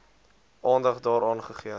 aandag daaraan gegee